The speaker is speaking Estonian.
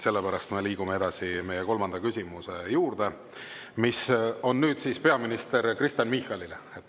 Sellepärast me liigume edasi meie kolmanda küsimuse juurde, mis on peaminister Kristen Michalile.